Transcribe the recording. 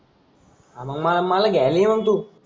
हा मग मला मला घ्यायला ये तू.